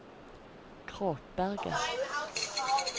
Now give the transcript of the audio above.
Kråkberget